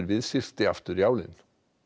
við syrti aftur í álinn